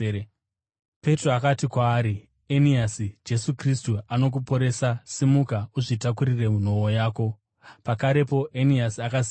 Petro akati kwaari, “Eniasi, Jesu Kristu anokuporesa. Simuka uzvitakurire nhoo yako.” Pakarepo Eniasi akasimuka.